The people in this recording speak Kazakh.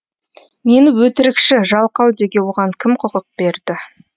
мені өтірікші жалқау деуге оған кім құқық берді